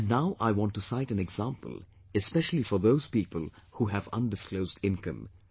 And now I want to cite an example especially for those people who have undisclosed income